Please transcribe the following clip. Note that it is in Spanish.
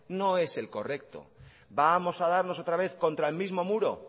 no es el correcto vamos a darnos otra vez contra el mismo muro